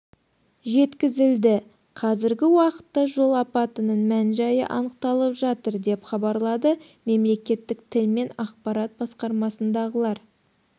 жеткізілді қазіргі уақытта жол апатының мән-жайы анықталып жатыр деп хабарлады мемлекеттік тіл мен ақпарат басқармасындағылар